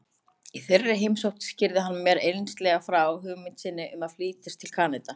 Í þeirri heimsókn skýrði hann mér einslega frá hugmynd sinni um að flytjast til Kanada.